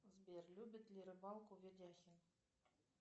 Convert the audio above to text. сбер любит ли рыбалку видяхин